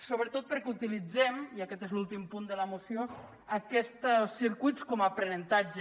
sobretot perquè utilitzem i aquest és l’últim punt de la moció aquests circuits com a aprenentatge